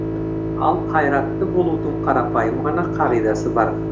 ал қайратты болудың қарапайым ғана қағидасы бар